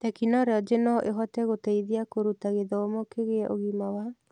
Tekinoronjĩ no ĩhote gũteithia kũruta gĩthomo kĩgie ũgima wa